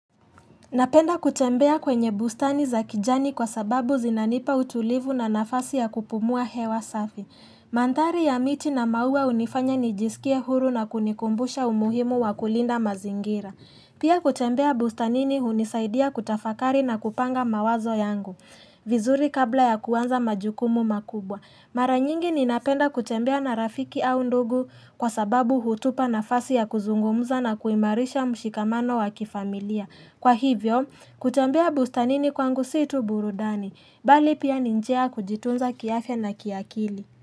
Napenda kutembea kwenye bustani za kijani kwa sababu zinanipa utulivu na nafasi ya kupumua hewa safi. Mandhari ya miti na maua hunifanya nijisikia huru na kunikumbusha umuhimu wa kulinda mazingira. Pia kutembea bustanini hunisaidia kutafakari na kupanga mawazo yangu. Vizuri kabla ya kuanza majukumu makubwa. Mara nyingi ninapenda kutembea na rafiki au ndugu kwa sababu hutupa nafasi ya kuzungumza na kuimarisha mshikamano wa kifamilia. Kwa hivyo, kutembea bustanini kwangu si tu burudani, bali pia ni njia ya kujitunza kiafya na kiakili.